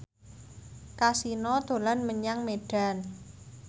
Kasino dolan menyang Medan